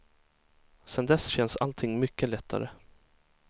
Sedan dess känns allting mycket lättare.